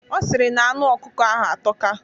Ọ sịrị na anụ ọkụkọ ahụ atọka.